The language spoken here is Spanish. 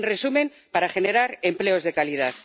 En resumen, para generar empleos de calidad.